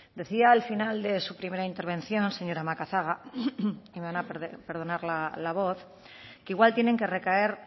decía al final de su primera intervención señora macazaga y me van a perdonar la voz que igual tienen que recaer